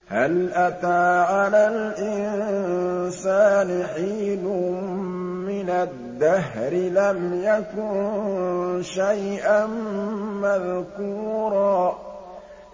هَلْ أَتَىٰ عَلَى الْإِنسَانِ حِينٌ مِّنَ الدَّهْرِ لَمْ يَكُن شَيْئًا مَّذْكُورًا